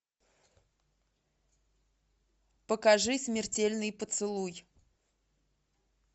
покажи смертельный поцелуй